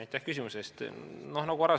Aitäh küsimuse eest!